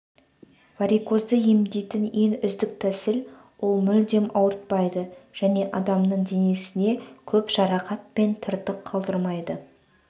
варикозды емдейтін ең үздік тәсіл ол мүлдем ауыртпайды және адамның денесіне көп жарақат пен тыртық қалдырмайды